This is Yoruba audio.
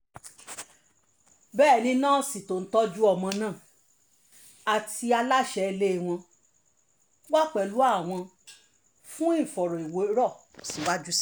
bẹ́ẹ̀ ni násì tó ń tọ́jú ọmọ náà àti aláṣẹ ilé wọn wà pẹ̀lú àwọn fún ìfọ̀rọ̀wérọ̀ síwájú sí i